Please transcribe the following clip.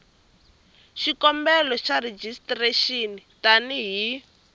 xikombelo xa rejistrexini tani hi